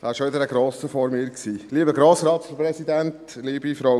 Es war wieder ein Grosser vor mir am Rednerpult.